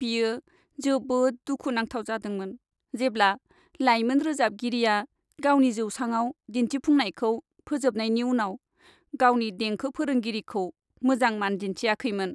बियो जोबोद दुखु नांथाव जादोंमोन जेब्ला लायमोन रोजाबगिरिया गावनि जौसांआव दिन्थिफुंनायखौ फोजोबनायनि उनाव गावनि देंखो फोरोंगिरिखौ मोजां मान दिन्थियाखैमोन।